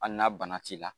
Hali na bana t'i la